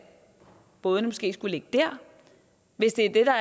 bådene måske ikke skulle ligge der hvis det der